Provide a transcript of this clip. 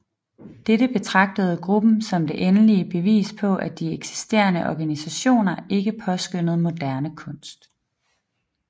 Dette betragtede gruppen som det endelige bevis på at de eksisterende organisationer ikke påskønnede moderne kunst